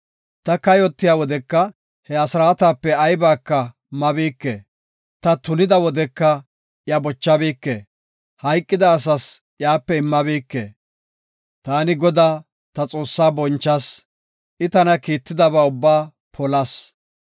Ta kayotiya wodeka, he asraatape aybaka mabike; ta tunida wodeka iya bochabike; hayqida asas iyape immabike. Taani Godaa, ta Xoossaa bonchas; I tana kiittidaba ubba polas.